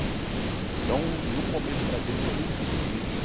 Então no começo para a gente foi muito difícil.